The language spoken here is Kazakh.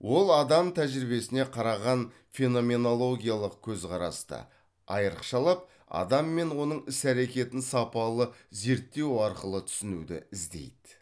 ол адам тәжірибесіне қараған феноменологиялық көзқарасты айырықшалап адам мен оның іс әрекетін сапалы зерттеу арқылы түсінуді іздейді